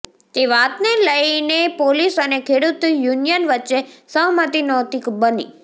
જે વાતને લઈને પોલીસ અને ખેડૂત યુનિયન વચ્ચે સહમતી નહોતી બની